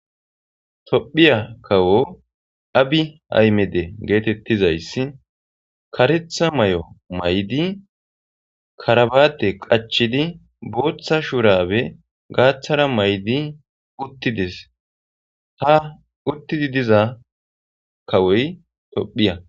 Tophiya kawo abi aymede getetizasys karetha mayo mayidi karbate qacidi botha shurabe gathara mayidi utides ha utidi diza kawoy tophiya